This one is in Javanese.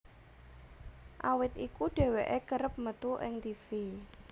Awit iku dheweké kerep metu ing tivi